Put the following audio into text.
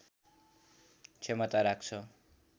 क्षमता राख्छ